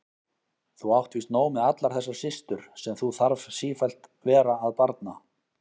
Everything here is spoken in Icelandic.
Þú átt víst nóg með allar þessar systur sem þú þarf sífellt vera að barna.